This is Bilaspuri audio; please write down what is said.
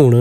हुण